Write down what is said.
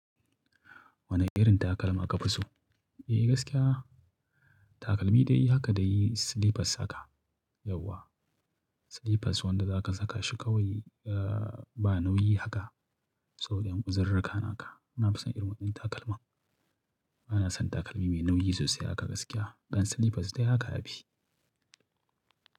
Wane irin takalma ka fi so? Eh gaskiya takalmi dai haka dai slippers haka yawwa. Slippers wanda zaka saka shi kawai, ah ba nauyi haka saboda ƴan uzururruka naka. Nafi son irin waɗannan takalman. Bana son takalmi mai nauyi sosai haka gaskiya. Ɗan slippers dai haka ya fi.